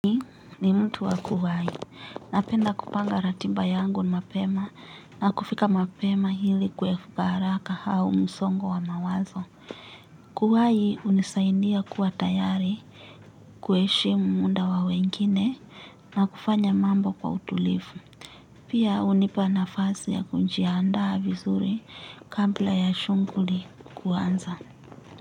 Mimi ni mtu wa kuwahi, napenda kupanga ratiba yangu mapema na kufika mapema hili kuepuka haraka hau msongo wa mawazo. Kuwahi hunisaidia kuwa tayari, kuheshimu muda wa wengine na kufanya mambo kwa utulivu. Pia hunipa nafasi ya kujiandaa vizuri kabla ya shughuli kuanza.